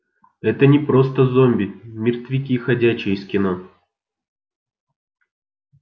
это не просто зомби мертвяки ходячие из кино